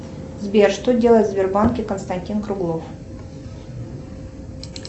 сбер что делает в сбербанке константин круглов